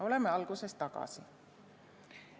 Oleme alguses tagasi.